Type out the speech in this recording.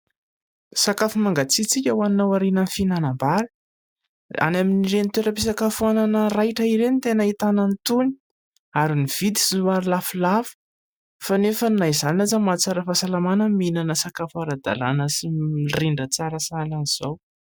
Sakafo mangatsiatsiaka ho anao aorianan'ny finanam-bary any amin'ireny toeram-pisakafoana raitra ireny ny tena ahitana ny tony ary ny vidiny somary lafolafo fa nefa na izany aza mahatsara fahasalamana mihinana sakafo ara-dalàna sy mirindra tsara sahalan'ny izao.